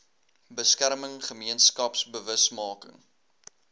beskerming gemeenskaps bewusmaking